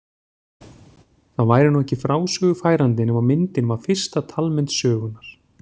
Það væri nú ekki frásögu færandi nema myndin var fyrsta talmynd sögunnar.